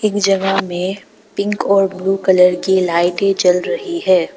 एक जगह में पिंक और ब्लू कलर की लाइटें जल रही है।